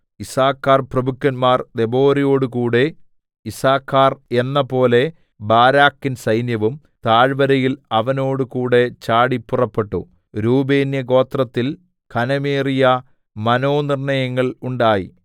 യിസ്സാഖാർപ്രഭുക്കന്മാർ ദെബോരയോടുകൂടെ യിസ്സാഖാർ എന്നപോലെ ബാരാക്കിൻ സൈന്യവും താഴ്വരയിൽ അവനോടുകൂടെ ചാടി പുറപ്പെട്ടു രൂബേന്യഗോത്രത്തിൽ ഘനമേറിയ മനോനിർണ്ണയങ്ങൾ ഉണ്ടായി